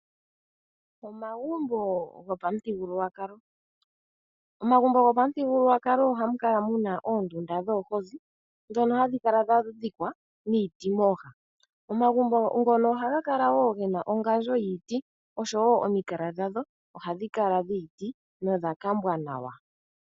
Omagumbo gopamuthigululwakalo hamu kala muna oondunda dhoombozi, ohadhi kala dhadhikwa niiti mooha, ohaga kala woo gena ongandjo yiiti oshowoo omikala dhadho ohadhi kala dhiiti nodhakambwa nawa.